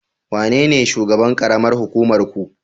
Wanene shugaban karamar hukumar ku?